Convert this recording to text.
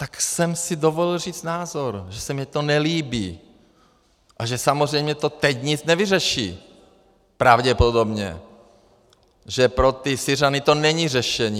Tak jsem si dovolil říct názor, že se mi to nelíbí a že samozřejmě to teď nic nevyřeší, pravděpodobně, že pro ty Syřany to není řešení.